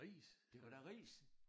Det var da ris!